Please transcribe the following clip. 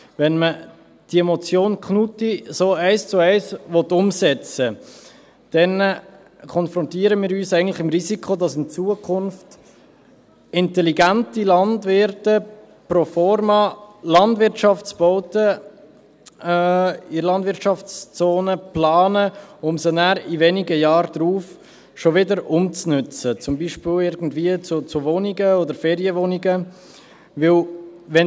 Wenn man die Motion Knutti eins zu eins umsetzen will, dann konfrontieren wir uns eigentlich mit dem Risiko, dass in Zukunft intelligente Landwirte pro forma Landwirtschaftsbauten in der Landwirtschaftszone planen, um sie nachher wenige Jahre darauf wieder umzunutzen, zum Beispiel als Wohnungen oder Ferienwohnungen, denn: